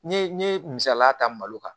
N ye n ye misaliya ta malo kan